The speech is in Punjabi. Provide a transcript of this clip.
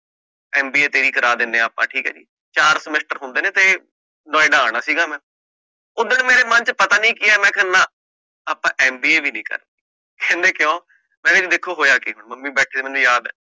MBA ਤੇਰੀ ਕਰਾ ਦਿੰਦੇ ਆਪਾ, ਠੀਕ ਹੈ ਜੀ, ਚਾਰ semester ਹੁੰਦੇ ਨੇ ਤੇ ਨੋਇਡਾ ਆਣਾ ਸੀਗਾ ਮੈ, ਊ ਦਿਨ ਮੇਰੇ ਮੰਨ ਚ ਪਤਾ ਨੀ ਕਿ ਆਯਾ ਮੈਂ ਕਹ ਨਾ ਆਪਾ MBA ਵੀ ਨੀ ਕਰਨੀ, ਕਹਿੰਦੇ ਕਿਉਂ? ਮੈਂ ਕਹਿ ਦੇਖੋ ਜੀ ਹੋਇਆ ਕਿ ਹੁਣ ਮੰਮੀ ਬੈਠੇ ਸੀ, ਮੈਨੂੰ ਯਾਦ ਆ